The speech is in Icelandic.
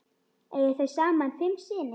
Eiga þau saman fimm syni.